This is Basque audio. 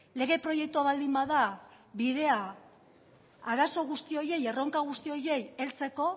lege proiektua baldin bada bidea arazo guzti horiei erronka guzti horiei heltzeko